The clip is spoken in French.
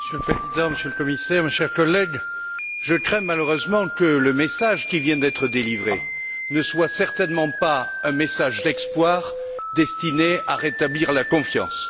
Monsieur le Président, Monsieur le Commissaire, mes chers collègues, je crains, malheureusement, que le message qui vient d'être délivré ne soit certainement pas un message d'espoir destiné à rétablir la confiance.